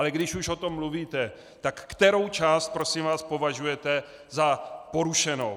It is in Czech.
Ale když už o tom mluvíte, tak kterou část prosím vás považujete za porušenou?